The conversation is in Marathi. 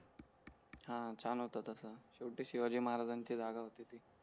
हां छान होता तसा शेवटी शिवाजी महाराजांची जागा होती ती